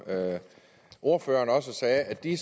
ordføreren også sagde er de